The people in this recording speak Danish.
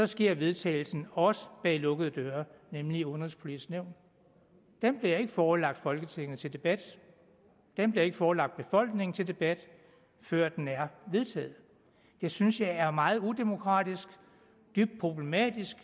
sker vedtagelsen også bag lukkede døre nemlig i udenrigspolitisk nævn den bliver ikke forelagt folketinget til debat den bliver ikke forelagt befolkningen til debat før den er vedtaget det synes jeg er meget udemokratisk dybt problematisk